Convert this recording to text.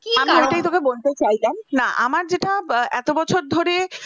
বলতে চাই না আমার যেটা এত বছর ধরে